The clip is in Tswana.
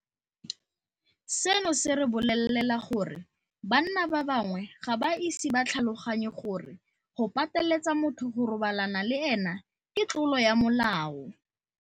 Seno se re bolelela gore banna ba bangwe ga ba ise ba tlhaloganye gore go pateletsa motho go robalana le ene ke tlolo ya molao.